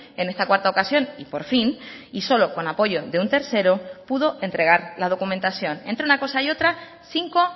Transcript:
en esta cuarta ocasión y por fin y solo con apoyo de un tercero pudo entregar la documentación entre una cosa y otra cinco